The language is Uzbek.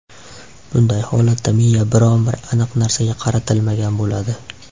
Bunday holatda miya biron-bir aniq narsaga qaratilmagan bo‘ladi.